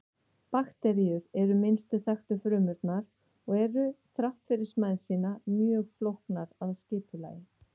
Bakteríur eru minnstu þekktu frumurnar og eru þrátt fyrir smæð sína mjög flóknar að skipulagi.